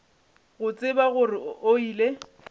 go tseba gore o ile